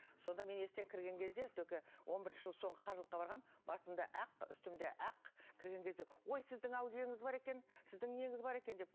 сонда мен есіктен кірген кезде только он бірінші жылы соңғы қажылыққа барғанмын басымда ақ үстімде ақ кірген кезде ой сіздің әулиеңіз бар екен сіздің неңіз бар екен деп